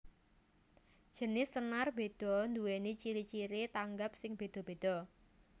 Jinis senar béda nduwèni ciri ciri tanggap sing béda béda